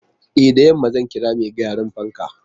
E, da yamma zan kira mai gyaran fankan.